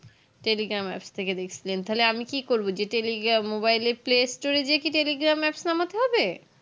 telegrma apps থেকে দেকসিলেন তাহলে আমি কি করবো যে telegram যে mobile এ play store এ যেয়ে কি telegram apps না নামাতে হবে